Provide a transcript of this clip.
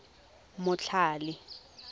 motlhale